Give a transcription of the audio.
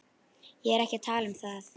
Ég er ekki að tala um það.